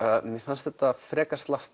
mér fannst þetta frekar slappt